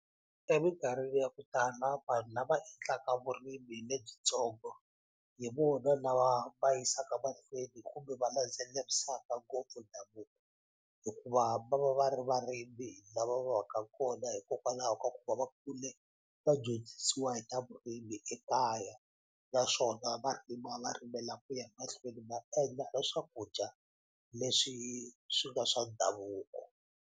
Emikarhini ya ku vanhu lava endlaka vurimi lebyitsongo hi vona lava va yisaka mahlweni kumbe va landzelerisaka ngopfu hikuva va va va ri varimi lava va va ka kona hikokwalaho ka ku va va kule va dyondzisiwa hi ta vurimi ekaya naswona va rima va rimela ku ya mahlweni va endla na swakudya leswi swi nga swa ndhavuko.